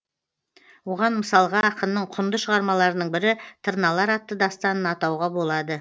оған мысалға ақынның құнды шығармаларының бірі тырналар атты дастанын атауға болады